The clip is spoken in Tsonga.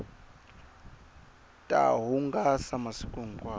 ta hungasa masiku hinkwawo